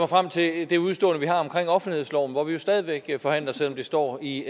frem til det udestående vi har omkring offentlighedsloven hvor vi jo stadig væk forhandler selv om det står i